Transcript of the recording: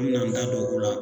An me n'an da don o la